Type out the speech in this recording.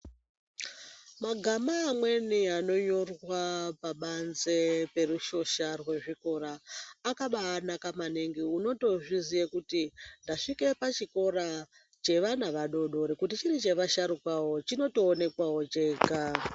Magama amweni anonyorwa pabanze perushosha rezvikora akabanaka maningi unotozviziye kuti ndasvike pachikora chevana vadodori kuti chiri chevasharukwawo chinotoonekawo chega.